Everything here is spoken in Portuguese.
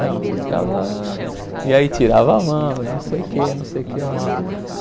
Não, você ficava... E aí tirava a mão e não sei o quê, não sei o quê. Uma